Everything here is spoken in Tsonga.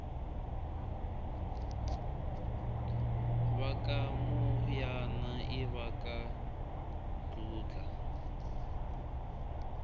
vakamoyana ivaka dludla